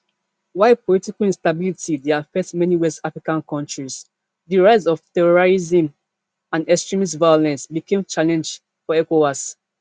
while political instability dey affect many west african kontris di rise of terrorism and extremist violence become challenge for ecowas